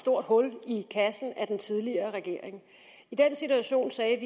stort hul i kassen af den tidligere regering i den situation sagde